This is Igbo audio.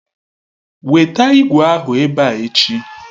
Weta ìgwè ahụ ebe a echi!